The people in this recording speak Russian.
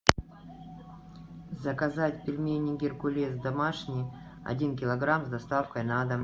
заказать пельмени геркулес домашние один килограмм с доставкой на дом